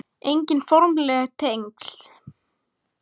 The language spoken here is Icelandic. Engin formleg tengsl